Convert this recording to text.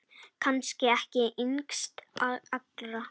Kannski ekki yngst allra.